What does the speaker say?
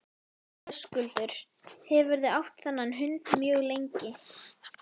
Höskuldur: Hefurðu átt þennan hund mjög lengi?